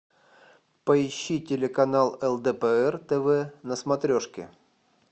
поищи телеканал лдпр тв на смотрешке